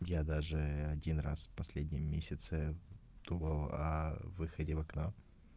я даже один раз в последнем месяце думал о выходе в окно